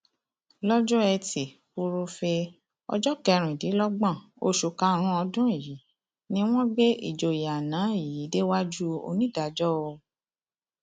lọjọ etí furuufee ọjọ kẹrìndínlọgbọn oṣù karùnún ọdún yìí ni wọn gbé ìjòyè àná yìí déwájú onídàájọ òò